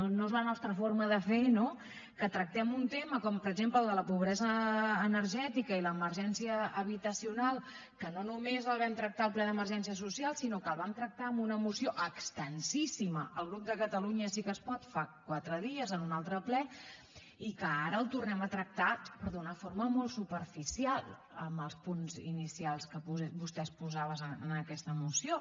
no és la nostra forma de fer no que tractem un tema com per exemple el de la pobresa energètica i l’emergència habitacional que no només el vam tractar al ple d’emergència social sinó que el vam tractar en una moció extensíssima el grup de catalunya sí que es pot fa quatre dies en un altre ple i que ara el tornem a tractar però d’una forma molt superficial en els punts inicials que vostè exposava en aquesta moció